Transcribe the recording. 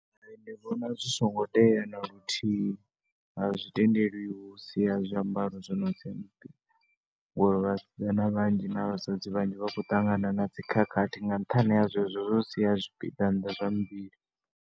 Ndi vhona zwi songo tea na luthihi, a zwi tendeliwi u sia zwiambaro zwi no sia zwipiḓa, ngori vhasidzana vhanzhi na vhasadzi vhanzhi vha khou ṱangana na dzi khakhathi nga nṱhani ha zwezwo zwa u sia zwipiḓa nnḓa zwa muvhili.